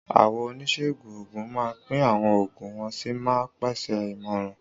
Àwọn oníṣègùn òògùn máa ń pín àwọn oògùn wọ́n sì máa ń pèsè ìmọ̀ràn.